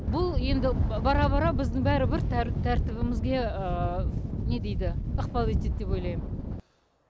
бұл енді бара бара біздің бәрібір тәртібімізге не дейді ықпал етеді деп ойлаймын